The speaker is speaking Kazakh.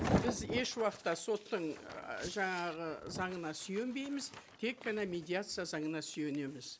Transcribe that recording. біз еш уақытта соттың і жаңағы заңына сүйенбейміз тек қана медиация заңына сүйенеміз